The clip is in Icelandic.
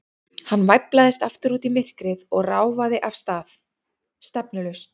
Hann væflaðist aftur út í myrkrið og ráfaði af stað, stefnulaust.